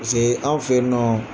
Pasekee anw fe yennɔ